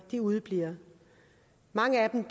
udebliver mange af dem